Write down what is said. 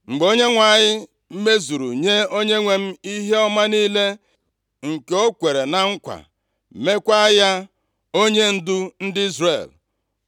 Mgbe Onyenwe anyị mezuru nye onyenwe m ihe ọma niile nke o kwere na nkwa, meekwa ya onyendu ndị Izrel,